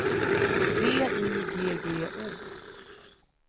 V I G G O